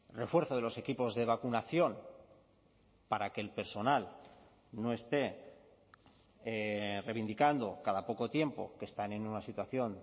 refuerzo de los equipos de vacunación para que el personal no esté reivindicando cada poco tiempo que están en una situación